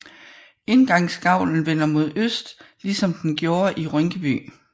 Indgangsgavlen vender mod øst ligesom den gjorde i Rynkeby